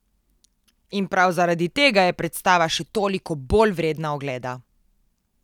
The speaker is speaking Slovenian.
In prav zaradi tega je predstava še toliko bolj vredna ogleda.